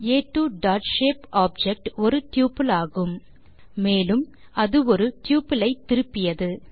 ஆ2 dot shape object ஒரு tuple ஆகும் மேலும் அது ஒரு ட்யூபிள் ஐ திருப்பியது